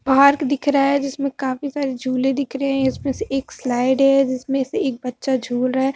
Park दिख रहा है जिसमें काफी सारे झूले दिख रहे हैं इसमें से एक स्लाईड है जिसमें से एक बच्चा झूल रहा है।